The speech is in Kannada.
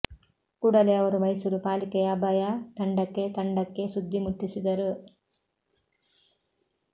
ಕೂಡಲೇ ಅವರು ಮೈಸೂರು ಪಾಲಿಕೆಯ ಅಭಯ ತಂಡಕ್ಕೆ ತಂಡಕ್ಕೆ ಸುದ್ದಿ ಮುಟ್ಟಿಸಿದರು